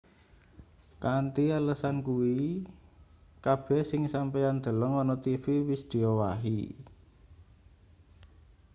kanthi alesan kuwi kabeh sing sampeyan deleng ana tv wis diowahi